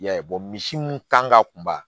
I y'a ye misi mun kan ka kunba